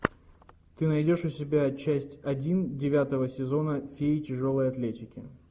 ты найдешь у себя часть один девятого сезона феи тяжелой атлетики